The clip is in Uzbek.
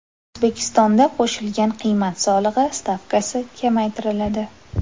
O‘zbekistonda qo‘shilgan qiymat solig‘i stavkasi kamaytiriladi.